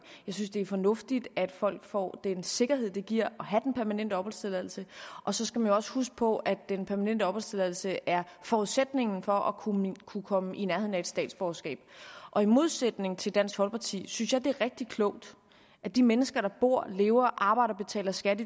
jeg synes det er fornuftigt at folk får den sikkerhed det giver at have den permanente opholdstilladelse og så skal man jo også huske på at den permanente opholdstilladelse er forudsætningen for at kunne kunne komme i nærheden af et statsborgerskab i modsætning til dansk folkeparti synes jeg at det er rigtig klogt at de mennesker der bor lever arbejder og betaler skat